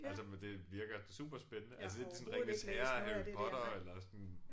Altså men det virker superspændende altså lidt ligesom Ringenes Herre Harry Potter eller sådan